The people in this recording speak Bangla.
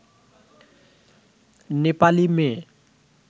নেপালী মেয়ে